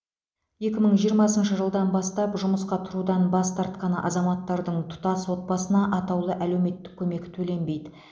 екі мың жиырмасыншы жылдан бастап жұмысқа тұрудан бас тартқан азаматтардың тұтас отбасына атаулы әлеуметтік көмек төленбейді